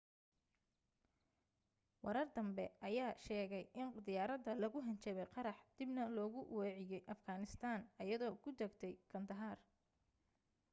warar danbe ayaa sheegay in diyaarada loogu hanjabay qarax dibna loogu weeciye afghanistan aydoo ku dagtay kandahar